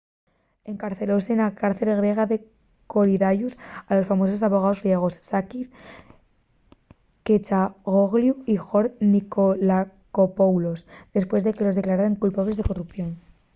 encarcelóse na cárcel griega de korydallus a los famosos abogaos griegos sakis kechagioglou y george nikolakopoulos depués de que los declararen culpables de corrupción